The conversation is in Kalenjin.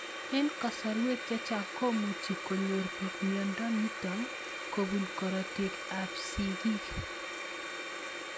Eng' kasarwek chechang' komuchi konyor pik miondo nitok kopun korotik ab sig'ik